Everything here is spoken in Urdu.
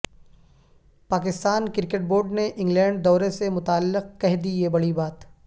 پاکستان کرکٹ بورڈ نے انگلینڈ دورے سے متعلق کہہ دی یہ بڑی بات